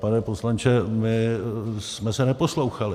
Pane poslanče, my jsme se neposlouchali.